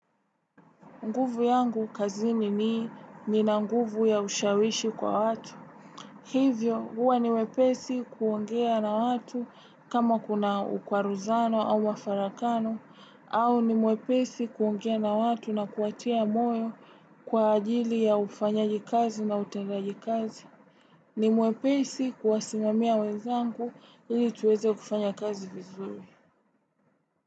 Nguvu yangu kazini ni nina nguvu ya ushawishi kwa watu. Hivyo huwa ni wepesi kuongea na watu kama kuna ukwaruzano au mafarakano au ni wepesi kuongea na watu na kuwatia moyo kwa ajili ya ufanyaji kazi na utendaji kazi. Ni wepesi kuwasimamia wezangu ili tuweze kufanya kazi vizuri.